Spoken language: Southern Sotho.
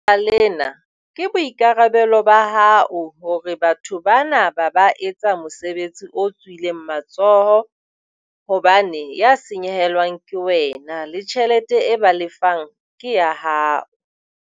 Ka baka lena ke boikarabelo ba hao hore batho bana ba ba etsa mosebetsi o tswileng matsoho hobane ya senyehelwang ke wena, le tjhelete e ba lefang ke ya hao.